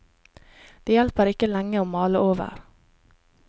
Det hjelper ikke lenge å male over.